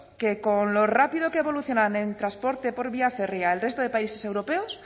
que con lo rápido que evolucionan en transporte por vía férrea el resto de países europeos